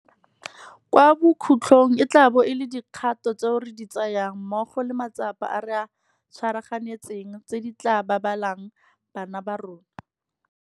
Kwa bokhutlong e tla bo e le dikgato tseo re di tsayang mmogo le matsapa a re a tshwaraganetseng tse di tla babalelang bana ba rona.